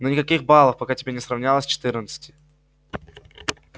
но никаких балов пока тебе не сравнялось четырнадцати